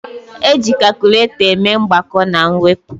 Eji kakụlatọ eme mgbakọ na mwepụ